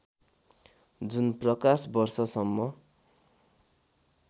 जुन प्रकाश वर्षसम्म